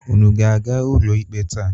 Unu ga-aga ụlọikpe taa?